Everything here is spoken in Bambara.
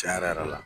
Tiɲɛ yɛrɛ yɛrɛ la